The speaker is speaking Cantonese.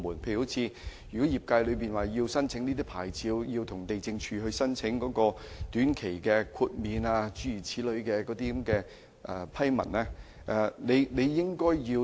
舉例而言，如果業界需要申請有關牌照，或須向地政總署申請短期豁免批文。